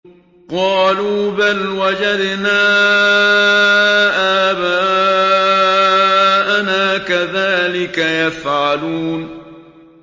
قَالُوا بَلْ وَجَدْنَا آبَاءَنَا كَذَٰلِكَ يَفْعَلُونَ